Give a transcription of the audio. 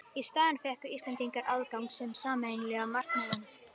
Í staðinn fengu Íslendingar aðgang að sameiginlega markaðinum.